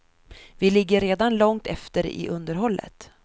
Vi ligger redan långt efter i underhållet.